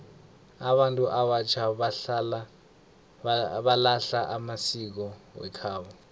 abantu abatjha balahla amasiko wekhabo